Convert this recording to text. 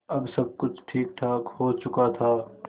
अब सब कुछ ठीकठाक हो चुका था